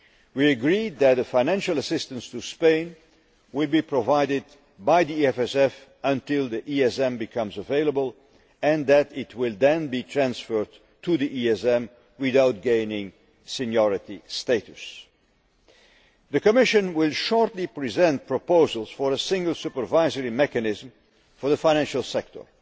We agreed that the financial assistance to Spain will be provided by the EFSF until the ESM becomes available, and that it will then be transferred to the ESM, without gaining seniority status. The Commission will shortly present proposals for a single supervisory mechanism for the financial sector,